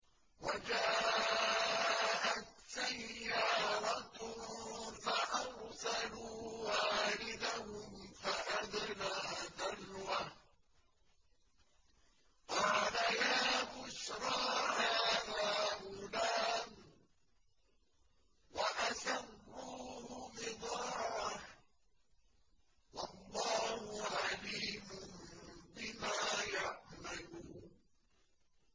وَجَاءَتْ سَيَّارَةٌ فَأَرْسَلُوا وَارِدَهُمْ فَأَدْلَىٰ دَلْوَهُ ۖ قَالَ يَا بُشْرَىٰ هَٰذَا غُلَامٌ ۚ وَأَسَرُّوهُ بِضَاعَةً ۚ وَاللَّهُ عَلِيمٌ بِمَا يَعْمَلُونَ